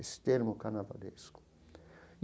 Esse termo carnavalesco.